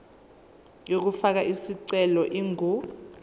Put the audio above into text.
yokufaka isicelo ingu